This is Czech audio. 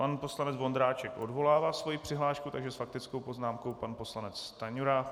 Pan poslanec Vondráček odvolává svoji přihlášku, takže s faktickou poznámkou pan poslanec Stanjura.